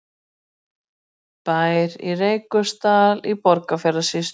Bær í Reykholtsdal í Borgarfjarðarsýslu.